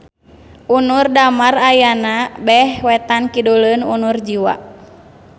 Unur Damar ayana beh wetan-kiduleun Unur Jiwa.